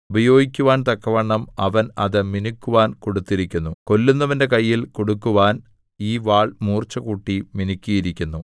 ഉപയോഗിക്കുവാൻ തക്കവണ്ണം അവൻ അത് മിനുക്കുവാൻ കൊടുത്തിരിക്കുന്നു കൊല്ലുന്നവന്റെ കയ്യിൽ കൊടുക്കുവാൻ ഈ വാൾ മൂർച്ചകൂട്ടി മിനുക്കിയിരിക്കുന്നു